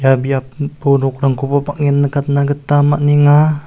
ia biapo nokrangkoba bang·en nikatna gita man·enga.